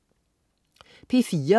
P4: